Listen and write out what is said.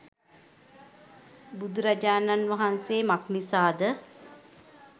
බුදුරජාණන් වහන්සේ මක් නිසාද